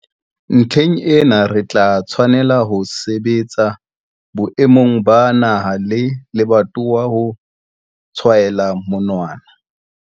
Ntlheng ena, re tla tshwanela ho sebetsa boemong ba naha le lebatowa ho tshwaela monwana.